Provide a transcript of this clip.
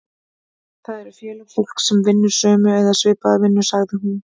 Það eru félög fólks sem vinnur sömu eða svipaða vinnu, sagði hún.